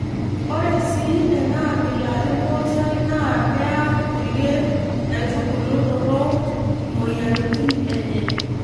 Ore sii enaabila empooshoi naa kearr kulie aitubulu torrok imoyiaritin enye.